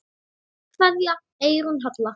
Kveðja, Eyrún Halla.